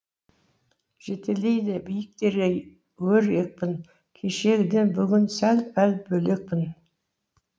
жетелейді биіктерге өр екпін кешегіден бүгін сәл пәл бөлекпін